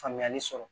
Faamuyali sɔrɔ